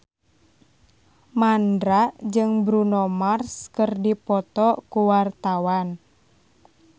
Mandra jeung Bruno Mars keur dipoto ku wartawan